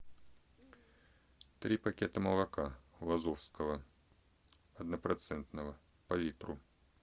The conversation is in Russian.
три пакета молока лазовского однопроцентного по литру